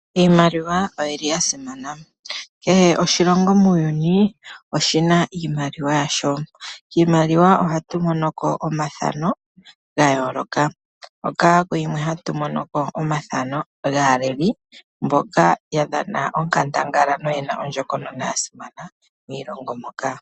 Iimaliwa oyi li ya simana. Kehe oshilongo muuyuni oshi na iimaliwa yasho . Kiimaliwa ohatu mono ko omathano ga yooloka, hoka kuyimwe hatu mono ko omathano gaaleli mboka ya dhana onkandangala noye na ondjokonona ya simana kiilonga moka.